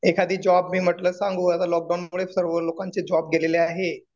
एखादी जॉब मी म्हटलं सांगू. आता लॉक डाऊन मुळे सर्व लोकांची जॉब गेलेली आहे.